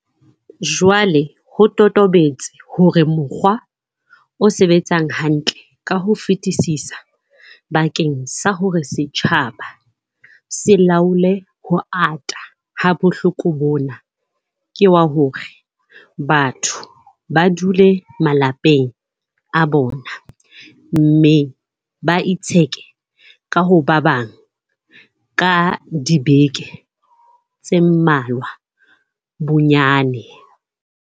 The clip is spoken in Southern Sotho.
Jwale ho totobetse hore mokgwa o sebetsang hantle ka ho fetisisa bakeng sa hore setjhaba se laole ho ata ha bohloko bona, ke wa hore batho ba dule malapeng a bona mme ba itsheke ho ba bang ka dibeke tse mmalwa bonnyane.